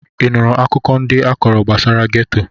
Ị nụrụ akụkọ ndị a kọrọ gbasara geto?